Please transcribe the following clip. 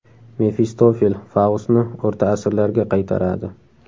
Mefistofel Faustni o‘rta asrlarga qaytaradi.